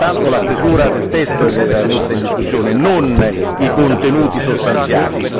È soltanto la stesura del testo che era messa in discussione, non i contenuti sostanziali.